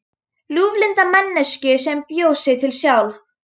Ljúflynda manneskju sem bjó sig til sjálf.